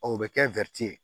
O bɛ kɛ ye